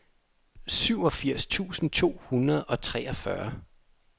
syvogfirs tusind to hundrede og treogfyrre